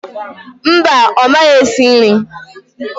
Mba, ọ maghị esi nri